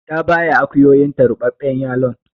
Ta baya akuyoyinta ruɓaɓɓen yalon.